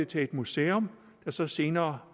til et museum som så senere